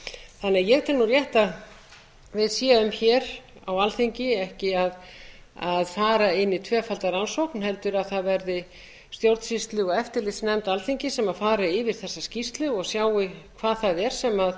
sig ég tel því rétt að við séum hér á alþingi ekki að fara inn í tvöfalda rannsókn heldur að það verði stjórnsýslu og eftirlitsnefnd alþingis sem fari yfir þessa skýrslu og sjái hvað það er sem